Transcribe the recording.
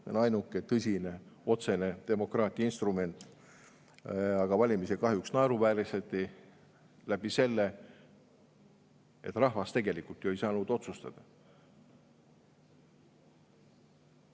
See on ainuke tõsine otsene demokraatia instrument, aga valimisi kahjuks naeruvääristati sellega, et rahvas tegelikult ju ei saanud otsustada.